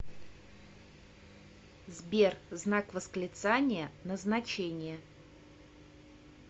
сбер знак восклицания назначение